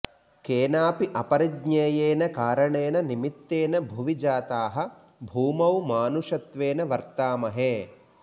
केनापि अपरिज्ञेयेन कारणेन निमित्तेन भुवि जाताः भूमौ मानुषत्वेन वर्तामहे